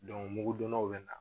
mugudonnaw bɛ na